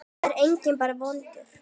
Það er enginn bara vondur.